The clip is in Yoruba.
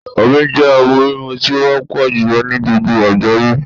Omi jẹ́ ohùn mímu tí ó wópò jùlo ní gbogbo àgbáyé